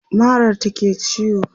marar ta ke ciwo